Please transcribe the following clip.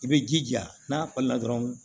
I bɛ jija n'a falila dɔrɔn